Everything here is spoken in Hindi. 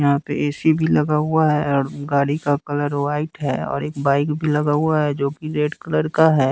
यहां पे ए_सी भी लगा हुआ है और गाड़ी का कलर व्हाइट है और एक बाइक भी लगा हुआ है जो कि रेड कलर का है।